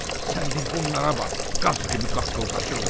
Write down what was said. Sən bir bunlara bax, qaz kimi qaqqıldaşırlar.